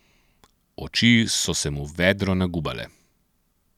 Oči so se mu vedro nagubale.